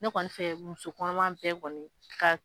Ne kɔni fɛ muso kɔnɔma bɛɛ kɔni.